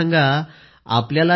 प्रधानमंत्रीः वणक्कम वणक्कम